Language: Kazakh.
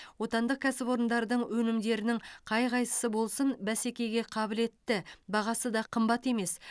отандық кәсіпорындардың өнімдерінің қай қайсысы болсын бәсекеге қабілетті бағасы да қымбат емес